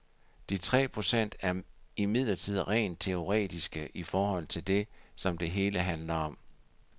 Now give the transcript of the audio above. De tre procent er imidlertid rent teoretiske i forhold til det, som det hele handler om.